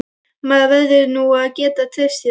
Maður verður nú að geta treyst þér!